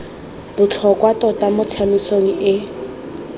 botlhokwa tota mo tsamaisong e